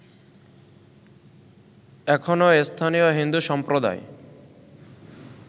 এখনো স্থানীয় হিন্দু সম্প্রদায়